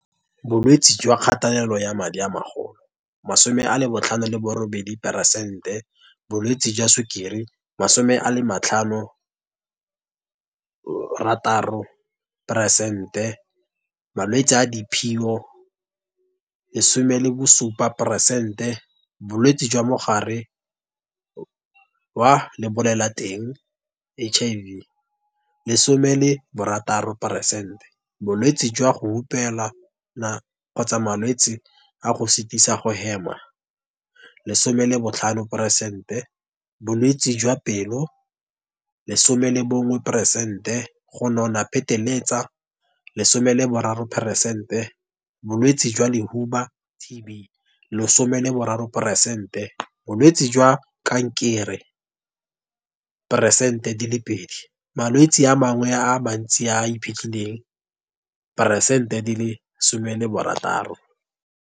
Bolwetse jwa kgatelelo ya madi a magolo, 58 diperesente Bolwetse jwa Sukiri, 56 peresente Malwetse a diphio, 17 peresente Bolwetse jwa Mogare wa Lebolelateng, HIV, 16 peresente Bolwetse jwa go hupelana kgotsa malwetse a go sitisa go hema, 15 peresente Bolwetse jwa pelo, 11 peresente Go nona pheteletsa, 13 peresente Bolwetse jwa lehuba, TB, 13 peresente Bolwetse jwa kankere, 2 peresente Malwetse a mangwe a mantsi a a iphitlhileng, 16 peresente.